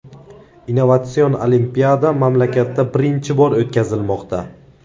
Innovatsion olimpiada mamlakatda birinchi bor o‘tkazilmoqda.